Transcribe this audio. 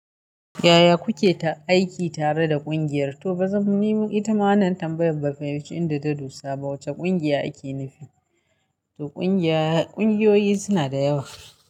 Yaya kuke ta aiki tare da ƙungiyar? To ba zan ni ita ma wannan tambayar ban, faiminci inda ta dosa ba wace ƙungiya ake nufi. To ƙungiya, ƙungiyoyi suna da yawa.